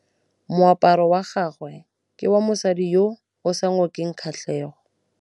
Moaparô wa gagwe ke wa mosadi yo o sa ngôkeng kgatlhegô.